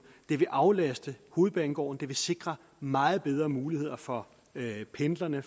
det vil aflaste hovedbanegården det vil sikre meget bedre muligheder for pendlerne